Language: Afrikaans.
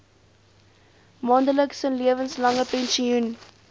maandelikse lewenslange pensioen